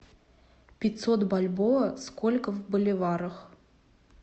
пятьсот бальбоа сколько в боливарах